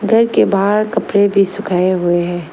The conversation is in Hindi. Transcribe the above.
घर के बाहर कपड़े भी सुखाए हुए हैं।